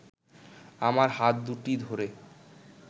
আমার হাত দুটি ধরে